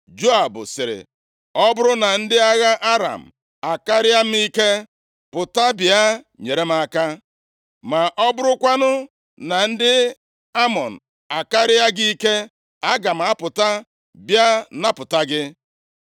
Joab sịrị, “Ọ bụrụ na ndị agha Aram akarịa m ike, pụta bịa nyere m aka; ma ọ bụrụkwanụ na ndị Amọn akarịa gị ike, aga m apụta bịa napụta gị.